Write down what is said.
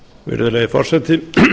virðulegi forseti